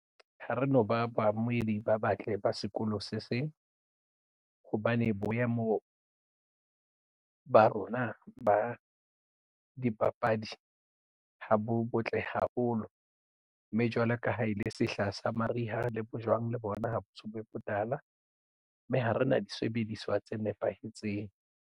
Ha re no ba baamohedi ba batle ba sekolo se seng hobane boemo ba rona ba dipapadi ha bo botle haholo mme jwalo ka ha e le sehla sa mariha le bojwang le bona ha ba so be botala mme ha re na disebediswa tse nepahetseng.